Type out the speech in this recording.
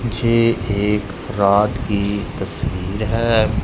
जे एक रात की तस्वीर है।